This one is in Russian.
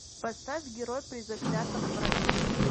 поставь герой при заклятом враге